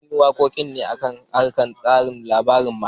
An yi wakokin ne a kan karin labarin almara